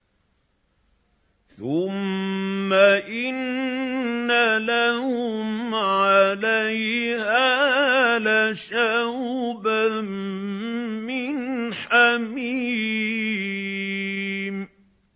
ثُمَّ إِنَّ لَهُمْ عَلَيْهَا لَشَوْبًا مِّنْ حَمِيمٍ